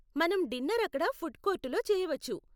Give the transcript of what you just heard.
మనం డిన్నర్ అక్కడ ఫుడ్ కోర్టులో చేయవచ్చు.